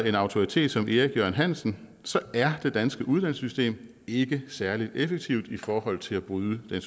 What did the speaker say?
en autoritet som erik jørgen hansen er det danske uddannelsessystem ikke særlig effektivt i forhold til at bryde den